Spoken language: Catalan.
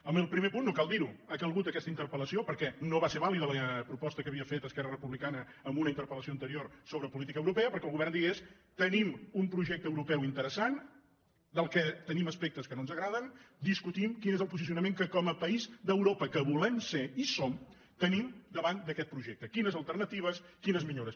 en el primer punt no cal dir ho ha calgut aquesta interpel·lació perquè no va ser vàlida la proposta que havia fet esquerra republicana en una interpel·lació anterior sobre política europea perquè el govern digués tenim un projecte europeu interessant del qual tenim aspectes que no ens agraden discutim quin és el posicionament que com a país d’europa que volem ser i som tenim davant d’aquest projecte quines alternatives quines millores